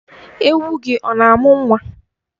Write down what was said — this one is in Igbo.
Ewu gị ọ na-amụ nwa?